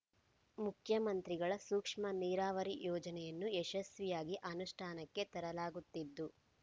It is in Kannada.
ಮುಖ್ಯಮಂತ್ರಿಗಳ ಸೂಕ್ಷ್ಮ ನೀರಾವರಿ ಯೋಜನೆಯನ್ನು ಯಶಸ್ವಿಯಾಗಿ ಅನುಷ್ಠಾನಕ್ಕೆ ತರಲಾಗುತ್ತಿದ್ದು